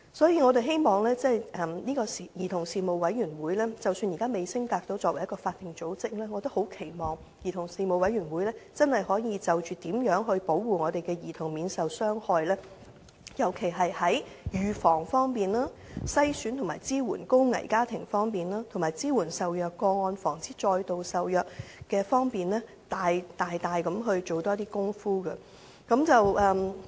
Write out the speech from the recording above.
因此，即使兒童事務委員會現時仍未升格為法定組織，我們也期望它能真正就如何保護兒童免受傷害，尤其在預防、篩選和支援高危家庭，以及支援受虐個案和防止再度受虐方面大力進行更多工作。